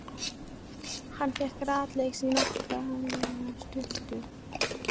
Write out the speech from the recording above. Hann fer rakleiðis í notalega sturtu.